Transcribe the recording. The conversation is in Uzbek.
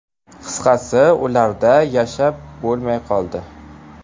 Qisqasi, ularda yashab bo‘lmay qoldi.